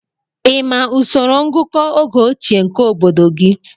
Ị ma usoro ngụkọ oge ochie nke obodo gị?